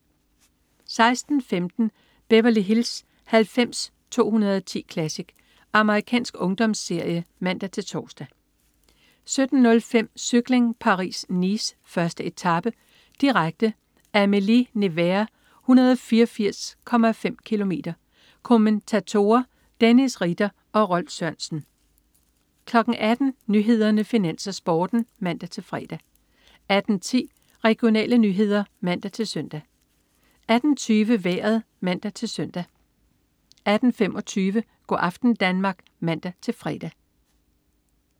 16.15 Beverly Hills 90210 Classic. Amerikansk ungdomsserie (man-tors) 17.05 Cykling: Paris-Nice. 1. etape, direkte. Amilly-Nevers, 184,5 km. Kommentatorer: Dennis Ritter og Rolf Sørensen 18.00 Nyhederne, Finans, Sporten (man-fre) 18.10 Regionale nyheder (man-søn) 18.20 Vejret (man-søn) 18.25 Go' aften Danmark (man-fre)